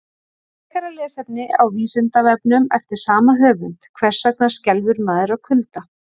Frekara lesefni á Vísindavefnum eftir sama höfund: Hvers vegna skelfur maður af kulda?